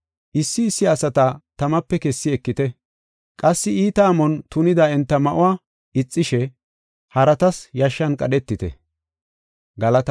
Issi issi asata tamape kessi ekite. Qassi iita amon tunida enta ma7uwa ixishe haratas yashshan qadhetite.